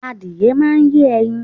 Adìyẹ máà ń yé ẹyin